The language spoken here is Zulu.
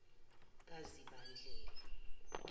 kazibandlela